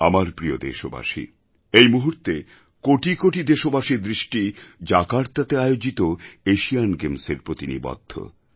আমার প্রিয় দেশবাসী এই মুহূর্তে কোটি কোটি দেশবাসীর দৃষ্টি জাকার্তাতে আয়োজিত এশিয়ান গেমসের প্রতি নিবদ্ধ